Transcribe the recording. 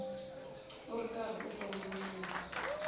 u ri karhi u kongomisa